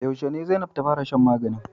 Yaushe ne zan fara shan maganin?